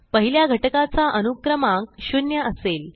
पहिल्या घटकाचा अनुक्रमांक 0 असेल